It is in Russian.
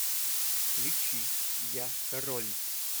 включи я король